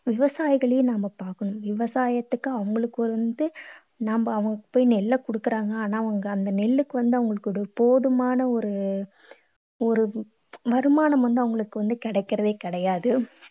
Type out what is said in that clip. விவசாயிகளையும் நம்ம பார்க்கணும். விவசாயத்துக்கு அவங்களுக்கு வந்து நம்ம அவங்க போய் நெல்லை கொடுக்கறாங்க. ஆனா அந்த நெல்லுக்கு வந்து அவங்களுக்கு ஒரு போதுமான ஒரு ஒரு வருமானம் வந்து அவங்களுக்கு வந்து கிடைக்கறதே கிடையாது.